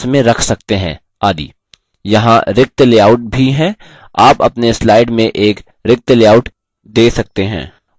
यहाँ रिक्तलेआउट भी हैं आप अपने slide में एक रिक्तलेआउट दे सकते हैं और फिर अपने खुद के लेआउट बना सकते हैं